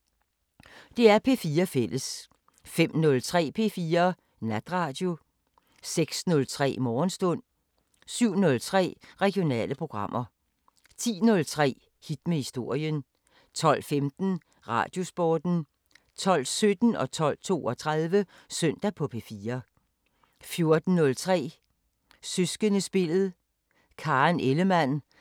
05:05: Fisketegn (G) 07:05: Croque Monsieur 08:05: Croque Monsieur, fortsat 09:05: Croque Monsieur, fortsat 10:05: Det, vi taler om (G) 11:05: Det, vi taler om (G) 12:05: Finnsk Terapi 13:05: Søndagspolitikken 14:05: Bedste Fjender For Evigt 15:05: Aflyttet